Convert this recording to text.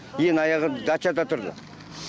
ең аяғы дачада тұрды